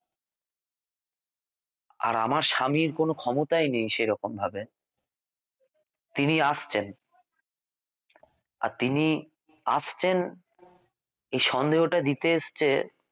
আর আমার স্বামীর কোনও ক্ষমতাই নেই সেরকম ভাবে তিনি আসছেন আর তিনি আসছেন এই সন্দেহটা দিতে এসেছে